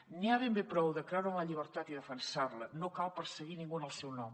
n’hi ha ben bé prou de creure en la llibertat i defensar·la no cal perseguir ningú en el seu nom